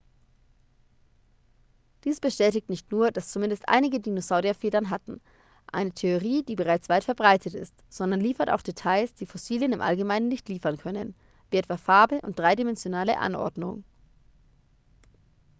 dies bestätigt nicht nur dass zumindest einige dinosaurier federn hatten eine theorie die bereits weit verbreitet ist sondern liefert auch details die fossilien im allgemeinen nicht liefern können wie etwa farbe und dreidimensionale anordnung